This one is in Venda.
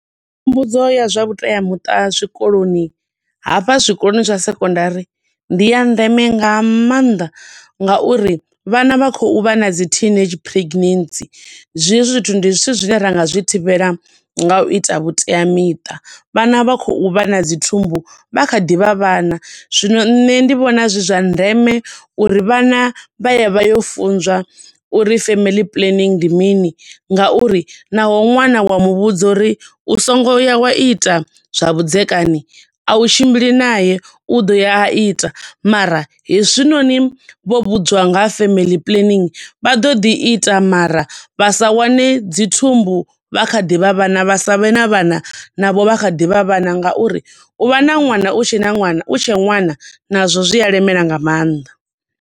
Mbudzo ya zwa vhutemuṱa zwikoloni hafha zwikoloni zwa secondary ndi ya ndeme nga maanḓa nga uri vhana vha khou vha na dzi teenage pregnancy. Hezwo zwithu ndi zwithu zwine ringa zwi thivhela nga u ita vhuteamiṱa. Vhana vha khou vha na dzi thumbu vha kha ḓi vha vhana. Zwino nṋe ndi vhona zwi zwa ndeme uri vhana vha ye vha yo funzwa uri family planning ndi mini, nga uri naho ṅwana wa muvhudza uri u songoya wa ita zwa vhudzekani, a u tshimbili nae, u ḓo ya a ite, mara hezwi noni vho vhudziwa nga ha family planning, vha ḓo ḓi ita mara vha sa wane dzi thumbu vha kha ḓi vha vhana, vha sa vhe na vhana navho vha kha ḓi vha vhana nga uri u vha na ṅwana u tshe na ṅwana, u tshe ṅwana na zwo zwi a lemela nga maanḓa.